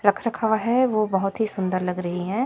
रख रखाव है वह बहुत ही सुंदर लग रही है।